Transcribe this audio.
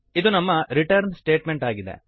ಇದು ನಮ್ಮ return statement ಆಗಿದೆ